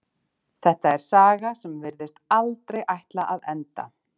Þetta er saga sem virðist aldrei ætla að enda.